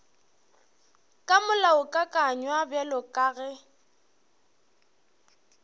ka molaokakanywa bjalo ka ge